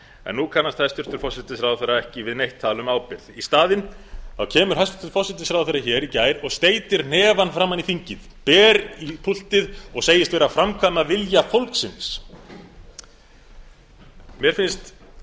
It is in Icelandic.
en nú kannast hæstvirtur forsætisráðherra ekki við neitt tal um ábyrgð í staðinn kemur hæstvirtur forsætisráðherra hér í fyrradag og steytti hnefann framan í þingið ber í púltið og segist vera að framkvæma vilja fólksins mér finnst